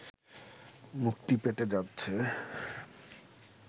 মুক্তি পেতে যাচ্ছে